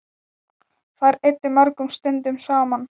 Þær eyddu mörgum stundum saman.